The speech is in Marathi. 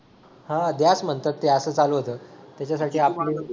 हां द्याच म्हणतात ते असा चालू होता त्याच्यासाठी आपलं